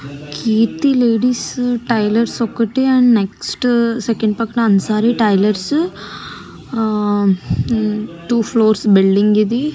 కీర్తి ladies tailors ఒకటి next second పక్క Ansari tailors two floors building ఇది.